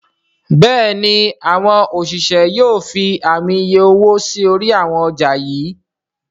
Béèni àwọn òṣìṣẹ́ yóò fí Ààmì iye owó sí orí àwọn ọjà yí.